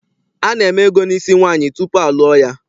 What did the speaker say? Ana-eme ego n'isi nwaanyị tupu a lụọ ya.